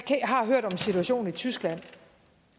har hørt om situationen i tyskland